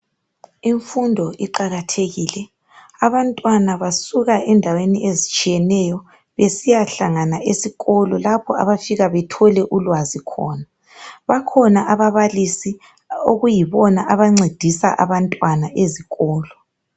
Imfundo iqakathekile. Abantwana basuka endaweni ezitshiyeneyo besiyahlangana esikolo lapho abafika bethole ulwazi khona. Bakhona ababalisi okuyibona abancedisa abantwana ezikolo.